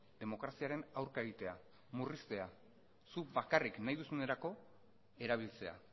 demokraziaren aurka egitea murriztea zuk bakarrik nahi duzunerako erabiltzea